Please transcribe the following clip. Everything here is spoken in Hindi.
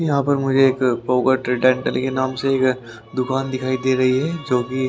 यहाँ पर मुझे एक पोगा ट्रेडर के नाम से एक दुकान दिखाई दे रही है जो कि--